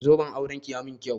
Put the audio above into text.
Zoben auranki ya mun kyau.